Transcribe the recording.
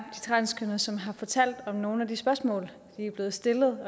transkønnede som har fortalt om nogle af de spørgsmål de er blevet stillet